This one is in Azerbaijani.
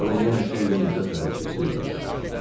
Sonra yenə xeyli müddət hərəkətsiz qaldı.